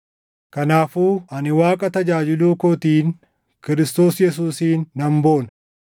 Kanaafuu ani Waaqa tajaajiluu kootiin Kiristoos Yesuusiin nan boona.